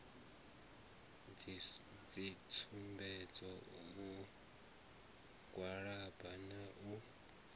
dzitsumbedzo u gwalaba na u